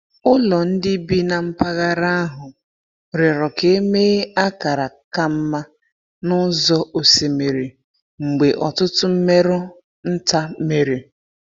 Ụlọ ndị bi na mpaghara ahụ rịọrọ ka e mee akara ka mma n’ụzọ osimiri mgbe ọtụtụ mmerụ nta mere.